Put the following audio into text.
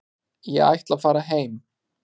Ég ætla að fara heim.